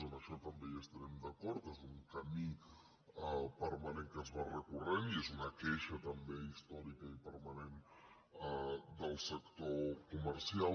amb això també hi estarem d’acord és un camí permanent que es va recorrent i és una queixa també històrica i permanent del sector comercial